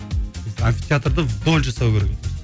амфитеатрды вдоль жасау керек еді